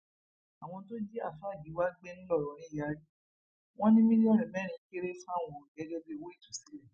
àwọn tó jí àáfàá giwa gbé ńlọrọrìn yarí wọn ní mílíọnù mẹrin kéré fáwọn gẹgẹ bíi owó ìtúsílẹ